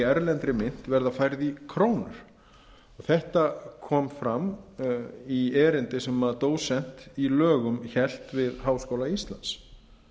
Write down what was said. erlendri mynt verða færð í krónur þetta kom fram í erindi sem dósent í lögum hélt við háskóla íslands